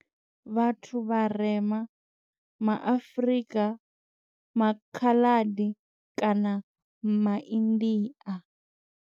Vhathu vharema ma Afrika, maKhaladi kana maIndia.